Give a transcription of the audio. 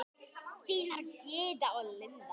Þínar Gyða og Linda.